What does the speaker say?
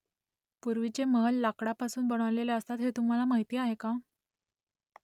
पूर्वीचे महल लाकडापासून बनवलेले असत हे तुम्हाला माहीत आहे का ?